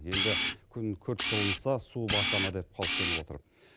енді күн күрт жылынса су баса ма деп қауіптеніп отыр